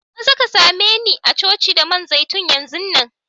Maza ka same ni a'coci da man zaitun yanzun nan!